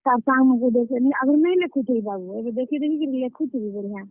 ତାର୍ ସାଙ୍ଗମାନଙ୍କୁ ଦେଖିକରି, ଆଗ୍ ରୁ ନେଇ ଲେଖୁଥାଇ ବାବୁ, ଏବେ ଦେଖିଦେଖି କରି ଲେଖୁଛେ ବି ବଢିଆ।